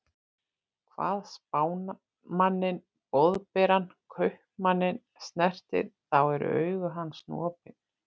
Hvað Spámanninn Boðberann Kaupmanninn snertir, þá eru augu hans nú opin.